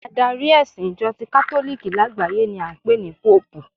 Adari ẹ̀sìn Ìjọ ti katoliki lágbàáyé ni a ń pè ní Póòpù